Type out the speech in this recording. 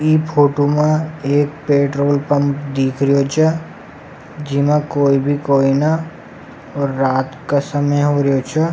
ई फोटो में एक पेट्रोलपंप दीख रियो छ जिमा कोई भी कोई ना और रात का समय हो रिया छ।